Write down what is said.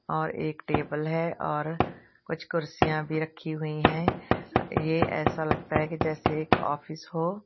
और एक टेबल है और कुछ कुर्सियां भी रखी हुई है ये ऐसा लगता है जैसे एक ऑफिस हो।